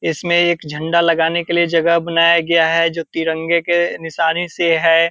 इसमें एक झंडा लगाने के लिए जगह बनाया गया है जो तिरंगे के निशानी से है।